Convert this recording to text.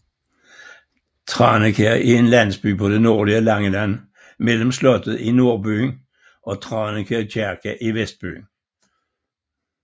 Tranekær er en landsby på det nordlige Langeland mellem slottet i nordbyen og Tranekær Kirke i vestbyen